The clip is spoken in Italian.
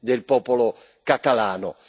del popolo catalano.